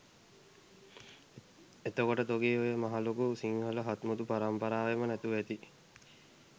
එතකොට තොගේ ඔය මහා ලොකු සිංහල හත්මුතු පරම්පරාවේම නැතුව ඇති